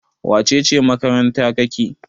wacece makaranta kake?